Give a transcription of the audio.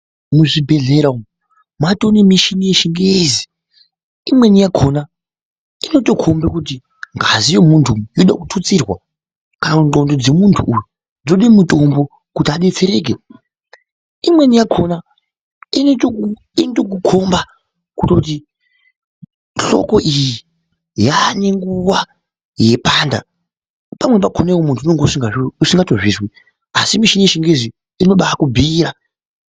Muzvibhehlera matova nemuchini yechingezi imweni yakona inokomba kuti ngazi yemuntu inoda kututsirwa kana ndxondo dzemuntu dzoda mutombo kuti adetsereke imweni yakona inoita wokukomba kuti hloko iyi yane nguva yeipanda iwewe wakona unenge usingazvinzwi ASI muchini yechingezi inokubhuyira.